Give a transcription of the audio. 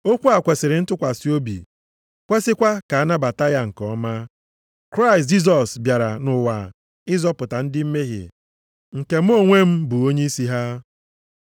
Okwu a kwesiri ntụkwasị obi, kwesikwa ka anabata ya nke ọma: Kraịst Jisọs bịara nʼụwa ịzọpụta ndị mmehie, nke mụ onwe m bụ onyeisi ha.